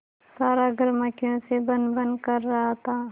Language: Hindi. सारा घर मक्खियों से भनभन कर रहा था